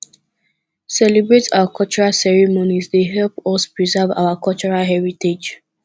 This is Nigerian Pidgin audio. celebrate our cultural ceremonies dey help us to preserve our cultural heritage